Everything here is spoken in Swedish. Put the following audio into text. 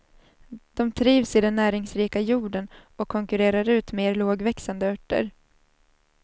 De trivs i den näringsrika jorden och konkurrerar ut mer lågväxande örter.